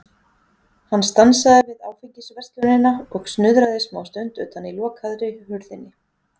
Hann stansaði við Áfengisverslunina og snuðraði smástund utan í lokaðri hurðinni.